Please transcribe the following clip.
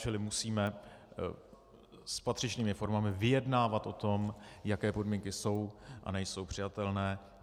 Čili musíme s patřičnými formami vyjednávat o tom, jaké podmínky jsou a nejsou přijatelné.